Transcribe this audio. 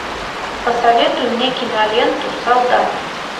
посоветуй мне киноленту солдат